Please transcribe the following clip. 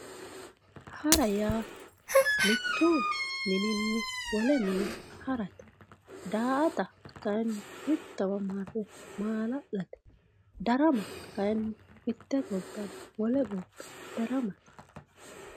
hara yaa mittu mininni wole harate daa''ata kayiinni mittowa ha'ne maala'late darama kayiinni mitte gobbanni wole gobba daramate.